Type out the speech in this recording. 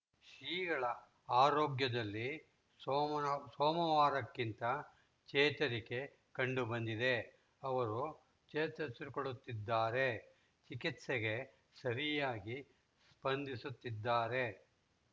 ಶ್ರೀಗಳ ಆರೋಗ್ಯದಲ್ಲಿ ಸೋಮನ ಸೋಮವಾರಕ್ಕಿಂತ ಚೇತರಿಕೆ ಕಂಡು ಬಂದಿದೆ ಅವರು ಚೇತರಿಸಿಕೊಳ್ಳುತ್ತಿದ್ದಾರೆ ಚಿಕಿತ್ಸೆಗೆ ಸರಿಯಾಗಿ ಸ್ಪಂದಿಸುತ್ತಿದ್ದಾರೆ